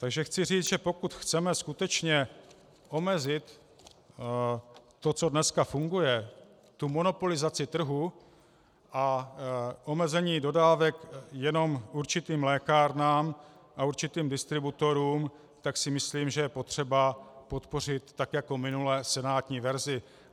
Takže chci říct, že pokud chceme skutečně omezit to, co dneska funguje, tu monopolizaci trhu a omezení dodávek jenom určitým lékárnám a určitým distributorům, tak si myslím, že je potřeba podpořit tak jako minule senátní verzi.